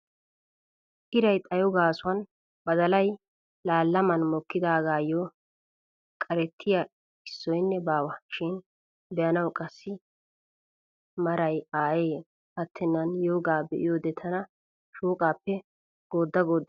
Iray xayo gaasuwaan badalay laallaman mokkidagayoo qarettiyay issoynne baawa shin be'anawu qassi maray ayee attenana yiyoogaa be'iyoode tana shooqaappe goodda goodda gees!